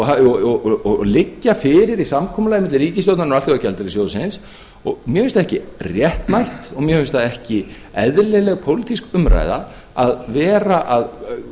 hafa verið og liggja fyrir í samkomulaginu milli ríkisstjórnarinnar og alþjóðagjaldeyrissjóðsins mér finnst það ekki réttmætt og mér finnst það ekki eðlileg pólitísk umræða að vera að